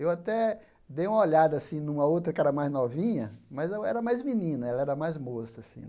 Eu até dei uma olhada assim numa outra que era mais novinha, mas era mais menina, ela era mais moça assim.